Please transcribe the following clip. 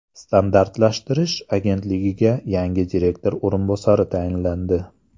Standartlashtirish agentligiga yangi direktor o‘rinbosari tayinlandi.